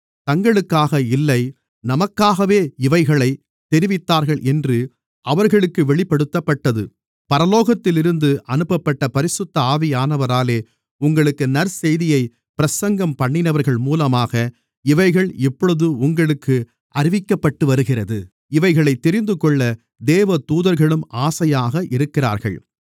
தங்களுக்காக இல்லை நமக்காகவே இவைகளைத் தெரிவித்தார்கள் என்று அவர்களுக்கு வெளிப்படுத்தப்பட்டது பரலோகத்திலிருந்து அனுப்பப்பட்ட பரிசுத்த ஆவியானவராலே உங்களுக்கு நற்செய்தியைப் பிரசங்கம்பண்ணினவர்கள் மூலமாக இவைகள் இப்பொழுது உங்களுக்கு அறிவிக்கப்பட்டுவருகிறது இவைகளைத் தெரிந்துகொள்ள தேவதூதர்களும் ஆசையாக இருக்கிறார்கள்